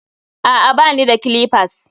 a'a, ba ni da clippers